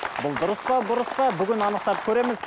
бұл дұрыс па бұрыс па бүгін анықтап көреміз